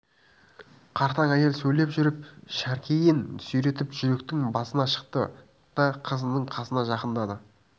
қартаң әйел сөйлеп жүріп шәркейін сүйретіп жүйектің басына шықты да қызының қасына жақындады